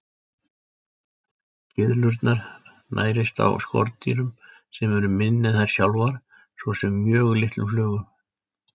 Gyðlurnar nærist á skordýrum sem eru minni en þær sjálfar, svo sem mjög litlum flugum.